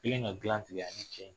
Kɛlen ka dilan tigɛ a ni cɛ in